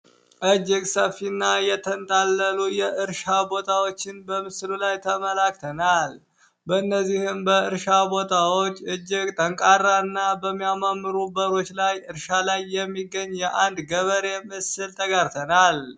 እጅግ ሰፊ እና የተንጣለለ የእርሻ በታዎችን በምስሉ ላይ ተመላክተናል። በእነዚህም እርሻ ቦታዎች ጠንካራ እና እጅግ የሚያማምሩ በሮች ላይ እርሻ ላይ የሚገኝ የአንድ ገበሬ ምስል ተጋርተናል።